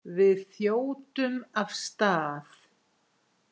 Við þjótum af stað.